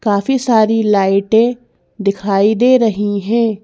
काफी सारी लाइटे दिखाई दे रही हैं।